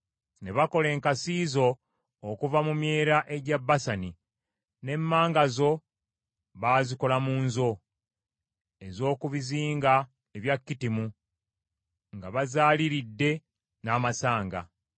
Ne bakola enkasi zo okuva mu myera egya Basani, n’emmanga zo, bazikola mu nzo, ez’oku bizinga ebya Kittimu, nga bazaaliiridde n’amasanga.